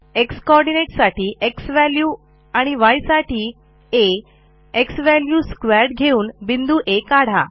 x coordinate साठी झ्वॅल्यू आणि य साठी आ xValue2 घेऊन बिंदू आ काढा